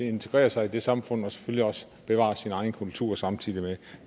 integrerer sig i samfundet og selvfølgelig også bevarer sin egen kultur samtidig med